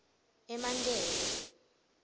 emankele